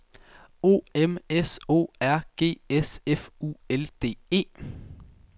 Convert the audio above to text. O M S O R G S F U L D E